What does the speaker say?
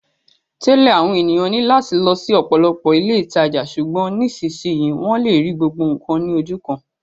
Tẹ́lẹ̀, àwọn ènìyàn ní láti lọ sí ọ̀pọ̀lọpọ̀ ilé ìtajà, ṣùgbọ́n nísinsìnyí, wọ́n lè rí gbogbo nǹkan ní ojú kan